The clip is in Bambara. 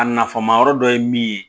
A nafan ma yɔrɔ dɔ ye min ye